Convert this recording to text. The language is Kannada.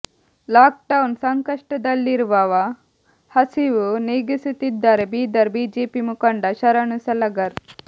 ಲಾಕ್ಡೌನ್ ಸಂಕಷ್ಟದಲ್ಲಿರುವವ ಹಸಿವು ನೀಗಿಸುತ್ತಿದ್ದಾರೆ ಬೀದರ್ ಬಿಜೆಪಿ ಮುಖಂಡ ಶರಣು ಸಲಗರ್